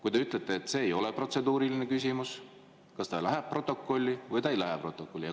Kui te ütlete, et see ei ole protseduuriline küsimus, siis kas see küsimus läheb protokolli või ei lähe protokolli?